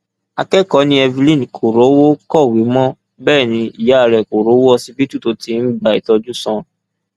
akẹkọọ ni evelyn kò rówó kọwé mọ bẹẹ ni ìyá rẹ kò rówó ọsibítù tó ti ń gba ìtọjú sàn